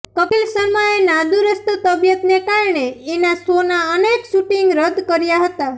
કપિલ શર્માએ નાદુરસ્ત તબિયતને કારણે એના શોનાં અનેક શૂટિંગ રદ કર્યા હતા